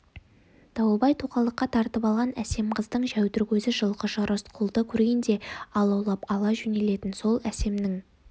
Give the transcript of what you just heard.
дауылбай тоқалдықка тартып алған әсем қыздың жәудір көзі жылқышы рысқұлды көргенде алаулап ала жөнелетін сол әсемнің